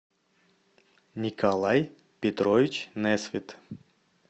николай петрович несвит